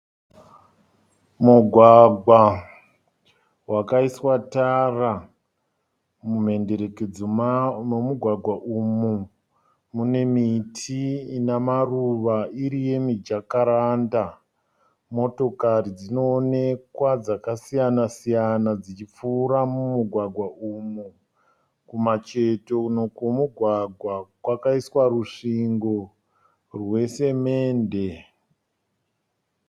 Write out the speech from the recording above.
Mugwagwa wakaiswa tara . Mumhenderekedzo memugwagwa umu mune miti ina maruva iri yemi jacaranda. Motokari dzinoonekwa dzakasiyana siyana dzichipfuura mumugwagwa umu. Kumacheto kwemugwagwa kwakaiswa rusvingo rwe semende.